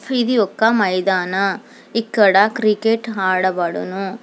ఇది ఒక్క మైదాన ఇక్కడ క్రికెట్ ఆడబడును.